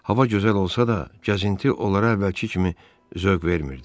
Hava gözəl olsa da, gəzinti onlara əvvəlki kimi zövq vermirdi.